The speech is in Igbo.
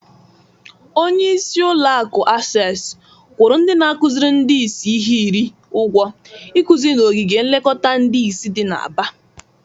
Onyeisi ụlọakụ Asesi kwụrụ ndị na-akụzịrị ndị isi ihe iri ụgwọ ikụzị n'ogige nlekọta ndị isi dị na Aba.